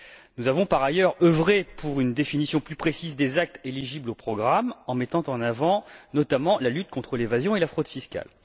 Nous avons, par ailleurs, œuvré pour une définition plus précise des actes éligibles au programme, en mettant notamment en avant la lutte contre l'évasion et la fraude fiscales.